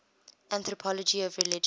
anthropology of religion